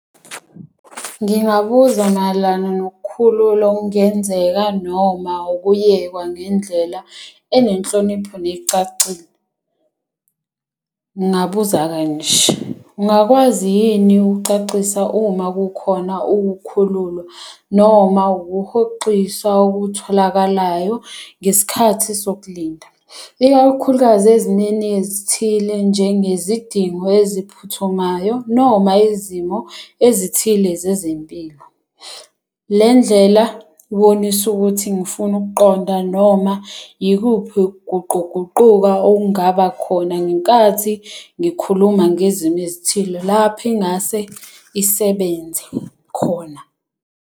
Ngingabuza mayelana nokukhululwa okungenzeka noma ukuyekwa ngendlela enenhlonipho necacile. Ngingabuza kanje, ungakwazi yini ukukucacisa uma kukhona ukukhululwa noma ukuhoxiswa okutholakalayo ngesikhathi sokulinda? Ikakhulukazi ezimeni ezithile, njenge zidingo eziphuthumayo noma izimo ezithile zezempilo. Le ndlela ibonise ukuthi ngifuna ukuqonda noma yikuphi ukuguquguquka okungaba khona ngenkathi ngikhuluma ngezimo ezithile lapho ingase isebenze khona.